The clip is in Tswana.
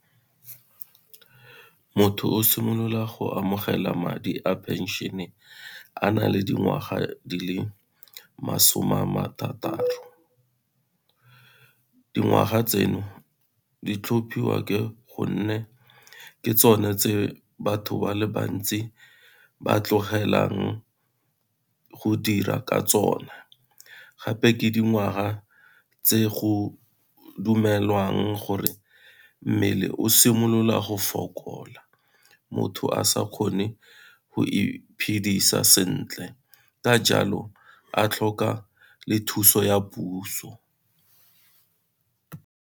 Motho o simolola go amogela madi a pension-e a na le dingwaga di le masome a ma thataro, dingwaga tseno di tlhophiwa ke gonne ke tsone tse batho ba le bantsi ba tlogelang go dira ka tsone, gape ke dingwaga tse go dumelwang gore mmele o simolola go fokola motho a sa kgone go iphedisa sentle ka jalo a tlhoka le thuso ya puso.